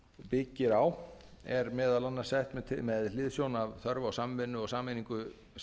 byggir á er meðal annars sett með hliðsjón af þörf á samvinnu og sameiningu